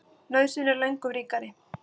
Nauðsyn er lögum ríkari.